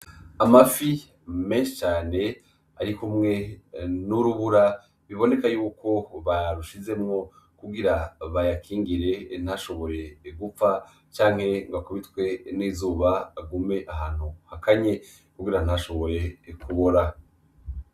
Amafi menshi cane arikumwe n'urubura biboneka yuko barushizemwo kugira bayakingire ntashobore gupfa canke ngo akubitwe n'izuba, agume ahantu hakanye kugira ngo ntashobore kubora.